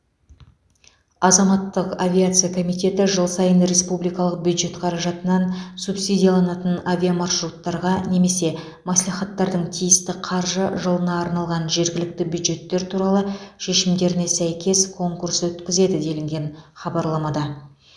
азаматтық авиация комитеті жыл сайын республикалық бюджет қаражатынан субсидияланатын авиамаршруттарға немесе мәслихаттардың тиісті қаржы жылына арналған жергілікті бюджеттер туралы шешімдеріне сәйкес конкурс өткізеді делінген хабарламада